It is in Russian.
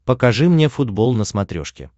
покажи мне футбол на смотрешке